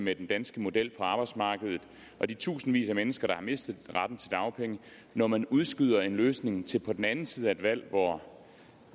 med den danske model på arbejdsmarkedet og de tusindvis af mennesker der har mistet retten til dagpenge når man udskyder en løsning til på den anden side af et valg hvor